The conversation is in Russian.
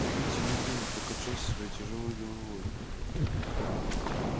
кьюти медленно покачал своей тяжёлой головой